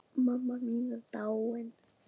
Mamma mín er dáin.